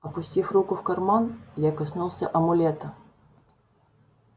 опустив руку в карман я коснулся амулета